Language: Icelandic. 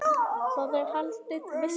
Þar er haldin veisla.